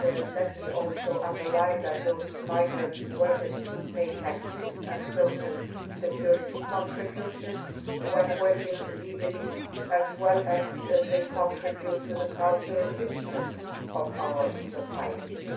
Let me also underline that those migrant workers pay taxes and social security contributions when working legally, as well as contributing to the cultural richness of our societies.